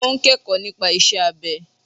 O n kẹ́kọ̀ọ́ nípa isẹ́ abẹ.